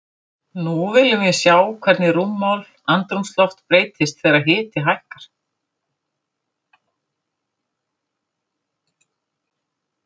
Nú viljum við sjá hvernig rúmmál andrúmsloft breytist þegar hiti hækkar.